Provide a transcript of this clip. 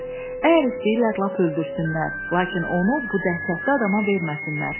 Əgər istəyirlər lap öldürsünlər, lakin onu bu dəhşətli adama verməsinlər.